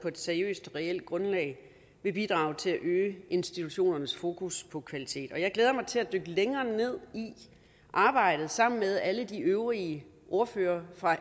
et seriøst og reelt grundlag vil bidrage til at øge institutionernes fokus på kvalitet jeg glæder mig til at dykke længere ned i arbejdet sammen med alle de øvrige ordførere for